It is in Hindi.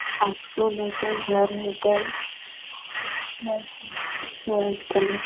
स्कूल है के घर है के व्हाइट कलर व्हाइट कलर ।